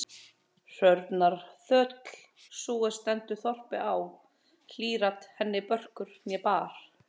Hrörnar þöll, sú er stendur þorpi á, hlýr-at henni börkur né barr.